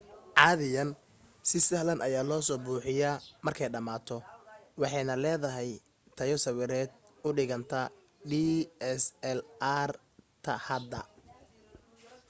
caadiyan si sahlan ayaa loo soo buuxiyaa markay dhamaato waxaanay leedahay tayo sawireed u dhiganta dslr-ta hadda